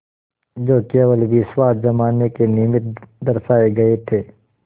जो केवल विश्वास जमाने के निमित्त दर्शाये गये थे